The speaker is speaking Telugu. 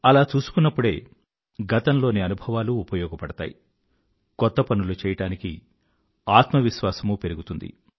అలా చూసుకున్నప్పుడే గతంలోని అనుభవాలూ ఉపయోగపడతాయి కొత్త పనులు చేయడానికి ఆత్మవిశ్వాసమూ పెరుగుతుంది